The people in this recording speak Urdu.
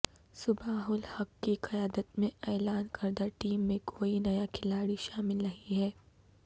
صباح الحق کی قیادت میں اعلان کردہ ٹیم میں کوئی نیا کھلاڑی شامل نہیں ہے